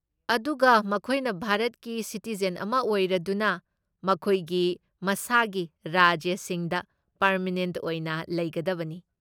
ꯑꯗꯨꯒ ꯃꯈꯣꯏꯅ ꯚꯥꯔꯠꯀꯤ ꯁꯤꯇꯤꯖꯦꯟ ꯑꯃ ꯑꯣꯏꯔꯗꯨꯅ ꯃꯈꯣꯏꯒꯤ ꯃꯁꯥꯒꯤ ꯔꯥꯖ꯭ꯌꯁꯤꯡꯗ ꯄꯔꯃꯦꯅꯦꯟꯠ ꯑꯣꯏꯅ ꯂꯩꯒꯗꯕꯅꯤ꯫